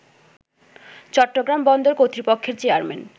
চট্টগ্রাম বন্দর কর্তৃপক্ষের চেয়ারম্যান